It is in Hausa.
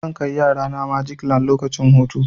Zan kai yarana magic land lokacin hutu.